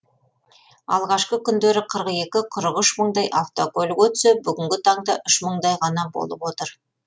алғашқы күндері қырық екі қырық үш мыңдай автокөлік өтсе бүгінгі таңда үш мыңдай ғана болып отыр